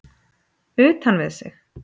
Utan við sig?